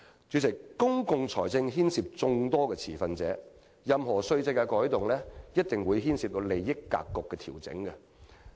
主席，公共財政牽涉眾多持份者，任何稅制改動一定會牽涉利益格局的調整。